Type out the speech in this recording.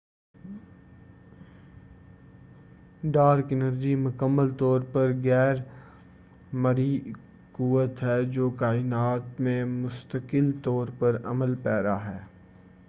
dark energy مکمل طور پر غیر مرئی قوت ہے جو کائنات میں مستقل طور پر عمل پیرا ہے